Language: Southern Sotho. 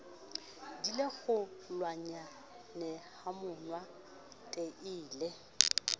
di le kgolwanyanehamonate e le